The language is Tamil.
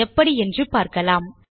எப்படி என்று பார்க்கலாம்